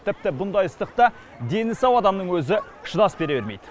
тіпті бұндай ыстықта дені сау адамның өзі шыдас бере бермейді